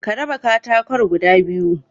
Ka raba katakon guda biyu